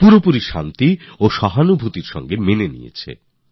পূর্ণ সহজতা আর শান্তির সঙ্গে স্বীকার করেছে